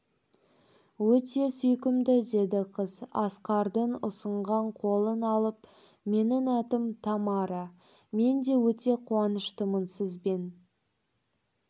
өте сүйкімді деді қыз асқардың ұсынған қолын алып менің атым тамара мен де өте қуаныштымын сізбен